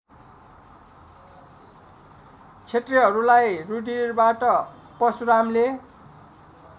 क्षत्रियहरूलाई रुधिरबाट परशुरामले